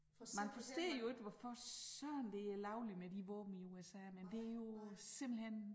Man forstår jo ikke hvorfor søren det er lovligt med de våben i USA men det jo simpelthen